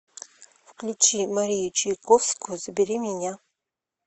включи марию чайковскую забери меня